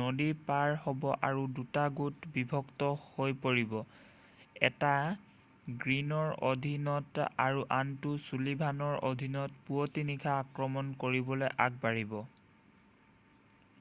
নদী পাৰ হ'ব আৰু দুটা গোটত বিভক্ত হৈ পৰিব এটা গ্ৰীনৰ অধীনত আৰু আনটো ছুলিভানৰ অধীনত পুৱতি নিশা আক্ৰমণ কৰিবলৈ আগবাঢ়িব